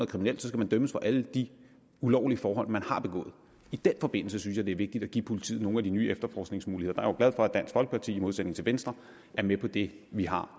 kriminelt skal dømmes for alle de ulovlige forhold man har begået i den forbindelse synes jeg det er vigtigt at give politiet nogle af de nye efterforskningsmuligheder der er for at dansk folkeparti i modsætning til venstre er med på det vi har